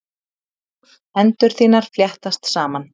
Hendur þínar fléttast saman.